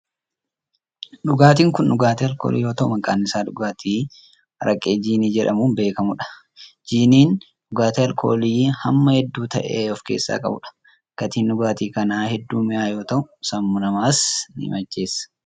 Dhugaatiin kun dhugaatii alkoolii yoo ta'u, maqaan isaa dhugaatii araqee jiinii jedhamuun beekamuu dha. Jiiniin, dhugaatii alkoolii hamma hedduu ta'e of keessaa qabuu dha. Gatiin dhugaatii kanaa hedduu mi'aawaa yoo ta'u, sammuu namaas ni macheessa.